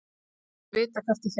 Þú munt vita hvert ég fer.